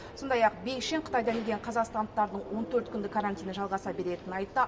сондай ақ бекшин қытайдан келген қазақстандықтардың он төрт күндік карантині жалғаса беретінін айтты